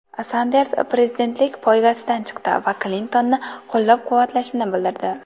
Sanders prezidentlik poygasidan chiqdi va Klintonni qo‘llab-quvvatlashini bildirdi.